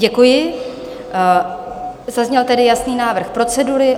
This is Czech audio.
Děkuji, zazněl tedy jasný návrh procedury.